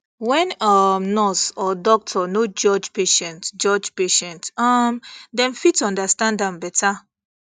when um nurse or doctor no judge patient judge patient um dem fit understand am better